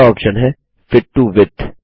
अगला ऑप्शन है fit to width